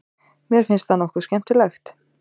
Mér finnst það nokkuð skemmtilegt.